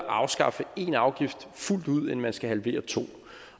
afskaffe en afgift fuldt ud end man skal halvere to